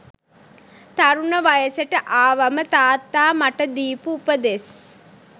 තරුණ වයසට ආවම තාත්තා මට දීපු උපදෙස්